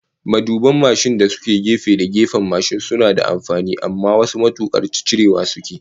Maduban da suke gefe da gefen mashin suna da amfani, amma wasu matukan cirewa sukeyi